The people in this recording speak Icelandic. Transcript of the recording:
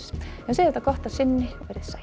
en við segjum þetta gott að sinni veriði sæl